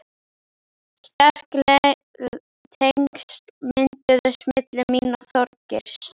Sterk tengsl mynduðust milli mín og Þorgeirs.